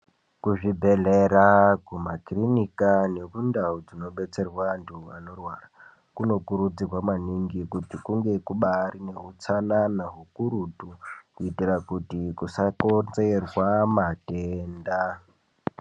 Kuzvibhedhlera, kumakinika nekundau dzinodetserwa vandu vanorwara kunokurudzirwaa maningi kuti kunge kumbari nehutsanana hukurutu kuitira kuti kusakonzerwa madenda.